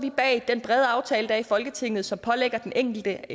bag den brede aftale der i folketinget som pålægger den enkelte